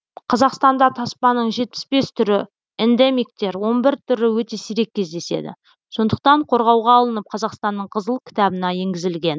қазақстанда таспаның жетпіс бес түрі эндемиктер он бір түрі өте сирек кездеседі сондықтан қорғауға алынып қазақстанның қызыл кітабына енгізілген